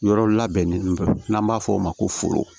Yɔrɔ labɛnnen fɛ n'an b'a f'o ma ko